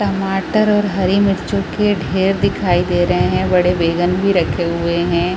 टमाटर और हरी मिर्चों की ढेर दिखाई दे रहै है बड़े बैगन भी रखे हुए है।